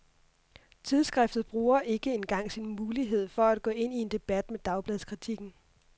Tidsskriftet bruger ikke engang sin mulighed for at gå ind i en debat med dagbladskritikken.